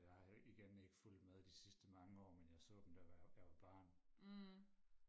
og jeg har igen ikke fulgt med de sidste mange år men jeg så dem da jeg jeg var barn